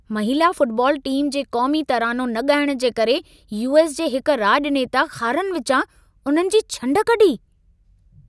महिला football team जे क़ौमी तरानो न ॻाइण जे करे यू.एस. जे हिक राॼनेता खारनि विचां उन्हनि जी छंड कढी।